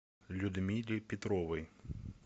людмиле петровой